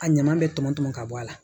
A ɲama bɛ tɔmɔ tɔn ka bɔ a la